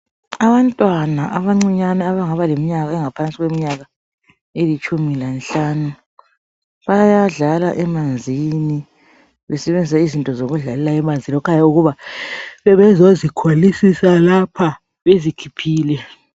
Abantwana abancinyane abangaba leminyaka engaphansi kweminyaka elitshumi lenhlanu bayadlala emanzini besebenzisa izinto zokudlalela emanzini kukhanya bebezozikholisela lapha bezikhiphile